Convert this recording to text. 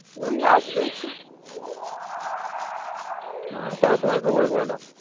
ওই আসবে একটু তারপর তোমার খবর বলো?